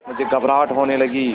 मुझे घबराहट होने लगी